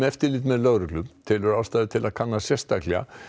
eftirlit með lögreglu telur ástæðu til að kanna sérstaklega